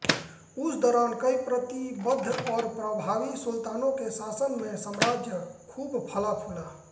उस दौरान कई प्रतिबद्ध और प्रभावी सुल्तानों के शासन में साम्राज्य खूब फला फूला